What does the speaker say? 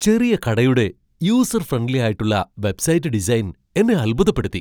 ചെറിയ കടയുടെ user friendly ആയിട്ടുള്ള വെബ്സൈറ്റ് ഡിസൈൻ എന്നെ അത്ഭുതപ്പെടുത്തി.